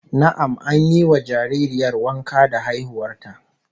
Na'am, an yi wa jaririyar wanka da haihuwar ta